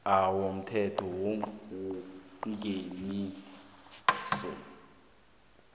a yomthetho wengeniso